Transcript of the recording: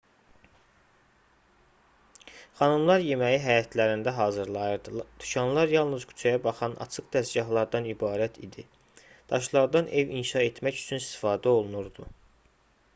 xanımlar yeməyi həyətlərində hazırlayırdı dükanlar yalnız küçəyə baxan açıq dəzgahlardan ibarət idi daşlardan ev inşa etmək üçün istifadə olunurdu